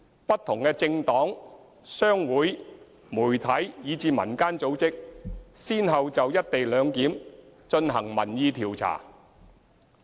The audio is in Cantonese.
不同的政黨、商會、媒體，以至民間組織先後就"一地兩檢"進行民意調查。